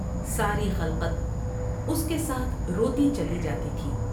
ساری خلقت اس کے ساتھ روتی چلی جاتی تھی ۔